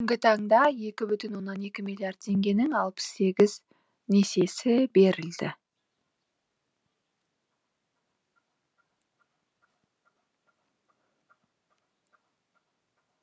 бүгінгі таңда екі бүтін екі миллиард теңгенің алпыс сегіз несиесі берілді